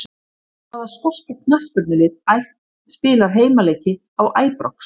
Hvaða skoska knattspyrnulið spilar heimaleiki á Æbrox?